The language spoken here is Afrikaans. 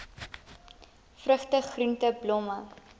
vrugte groente blomme